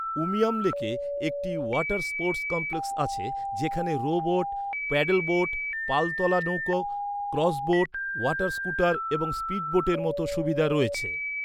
উমিয়াম লেকে একটি water sports complex আছে যেখানে রো বোট, প্যাডেলবোট, পালতোলা নৌকা, ক্রজ বোট, ওয়াটার স্কুটার এবং স্পিডবোটের মতো সুবিধা রয়েছে।